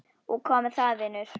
Og hvað með það, vinur?